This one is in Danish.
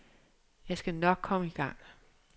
Jeg skal nok komme i gang.